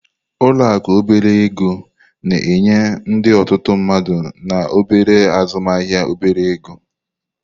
Ụlọ akụ obere ego na-enye ndị otutu mmadu na obere azụmaahịa obere ego.